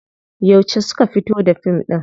Yauce suka fito da fim ɗin?